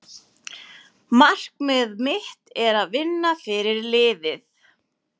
Markmið mitt er að vinna fyrir liðið.